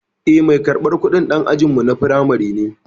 Eh, mai karɓar kudin dan ajinmu na firamare ne.